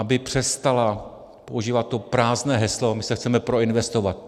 Aby přestala používat to prázdné heslo - my se chceme proinvestovat.